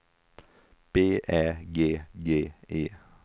B Ä G G E